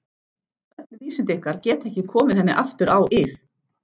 Öll vísindi ykkar geta ekki komið henni aftur á ið.